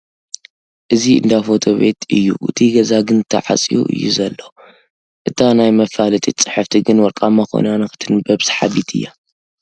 እዚ እንዳ ፎቶ ቤት እዩ እቲ ገዛ ግን ተፀዕዩ እዩ ዘሎ ፡ እታ ናይ መፋለጢት ፅሕፍቲ ግን ወርቓማ ኾይና ንኽትንበብ ሰሓቢት እያ ።